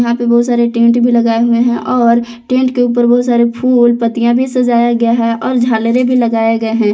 यहां पे बहुत सारे टेंट भी लगाए हुए हैं और टेंट के ऊपर बहुत सारे फूल पत्तियां भी सजाया गया है और झालरें भी लगाए गए हैं।